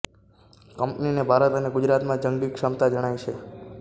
કંપનીને ભારત અને ગુજરાતમાં જંગી ક્ષમતા જણાય છે